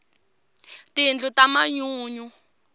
tindlu ta manyunyu